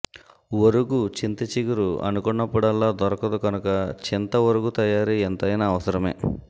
ఒరుగు చింతిచిగురు అనుకున్నప్పుడల్లా దొరకదు కనుక చింత ఒరుగు తయారీ ఎంతైన అవసరమే